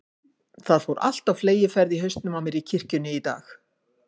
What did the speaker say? Það fór allt á fleygiferð í hausnum á mér í kirkjunni í dag.